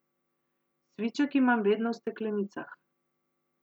Cviček imam vedno v steklenicah.